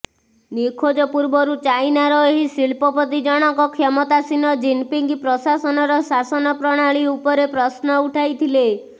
ନିଖୋଜ ପୂର୍ବରୁ ଚାଇନାର ଏହି ଶିଳ୍ପପତି ଜଣଙ୍କ କ୍ଷମତାସୀନ ଜିନପିଙ୍ଗ ପ୍ରଶାସନର ଶାସନ ପ୍ରଣାଳୀ ଉପରେ ପ୍ରଶ୍ନ ଉଠାଇଥିଲେ